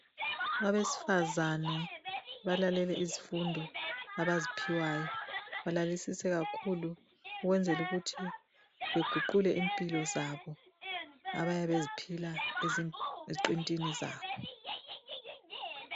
Abesifazane balalele izifundo abaziphiwayo balalelise kakhulu ukwenzela ukuthi baguqule impilo zabo abayabe beziphila eziqintini zabo.